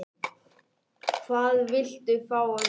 Hvað viltu fá að vita?